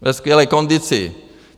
Ve skvělé kondici!